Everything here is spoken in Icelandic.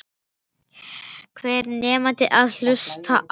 Hver nennir að hlusta á.